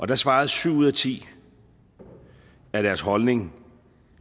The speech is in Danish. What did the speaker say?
der svarede syv ud af ti at deres holdning